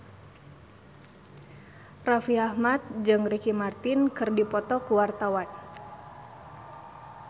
Raffi Ahmad jeung Ricky Martin keur dipoto ku wartawan